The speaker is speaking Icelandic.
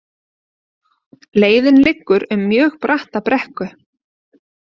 Leiðin liggur um mjög bratta brekku